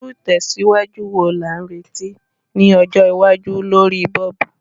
Irú ìtẹ̀síwájú wo la n retí ni ọjọ́ iwájú lorí bulb?